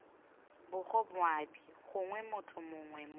bgo moabi gongwe motho mongwe